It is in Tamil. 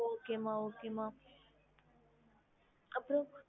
okey okay ma'am thank you mam